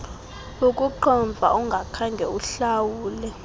ukuqhomfa ungakhange uhlawule